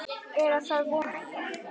Eða það vona ég